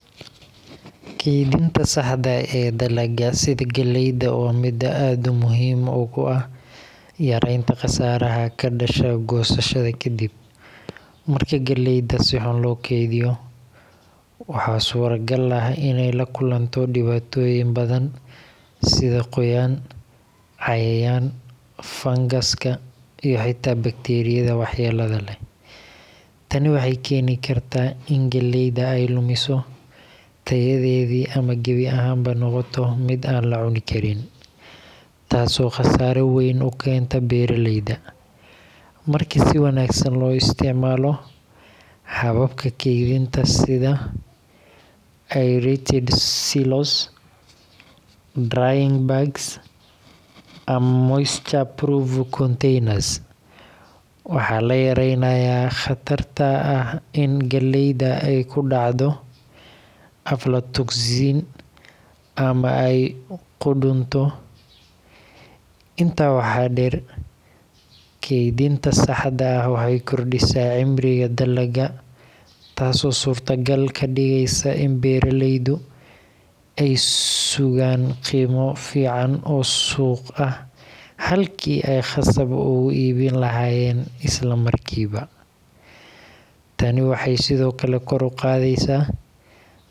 Kaydinta saxda ah ee dalagga sida galleyda waa mid aad muhiim ugu ah yaraynta qasaaraha ka dhasha goosashada kadib. Marka galleyda si xun loo kaydiyo, waxaa suuragal ah inay la kulanto dhibaatooyin badan sida qoyaan, cayayaan, fangaska, iyo xitaa bakteeriyada waxyeellada leh. Tani waxay keeni kartaa in galleyda ay lumiso tayadeedii ama gebi ahaanba noqoto mid aan la cuni karin, taasoo khasaare weyn u keenta beeraleyda. Marka si wanaagsan loo isticmaalo hababka kaydinta sida aerated silos, drying bags, ama moisture-proof containers, waxaa la yareynayaa khatarta ah in galleyda ay ku dhacdo aflatoxin ama ay qudhunto. Intaa waxaa dheer, kaydinta saxda ah waxay kordhisaa cimriga dalagga, taasoo suurtogal ka dhigeysa in beeraleydu ay sugaan qiimo fiican oo suuq ah halkii ay khasab ugu iibin lahaayeen isla markiiba. Tani waxay sidoo kale kor u qaadaysaa dakhliga.